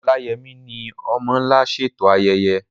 Oláyẹmí ni "Ọmọ́ Ńlá" ṣètò ayẹyẹ.